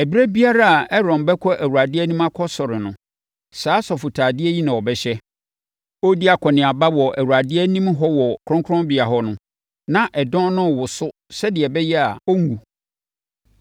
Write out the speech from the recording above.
Ɛberɛ biara a Aaron bɛkɔ Awurade anim akɔsɔre no, saa asɔfotadeɛ yi na ɔbɛhyɛ. Ɔredi akɔneaba wɔ Awurade anim hɔ wɔ kronkronbea hɔ no, na ɛdɔn no rewoso sɛdeɛ ɛbɛyɛ a, ɔrenwu.